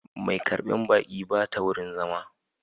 Mai karbar baƙi ba ta wurin zama